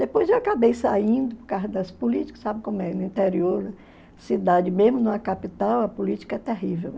Depois eu acabei saindo por causa das políticas, sabe como é, no interior, né, cidade, mesmo numa capital, a política é terrível.